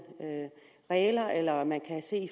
regler eller at man kan se